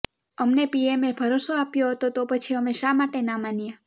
અમને પીએમએ ભરોસો આપ્યો હતો તો પછી અમે શા માટે ના માનીએ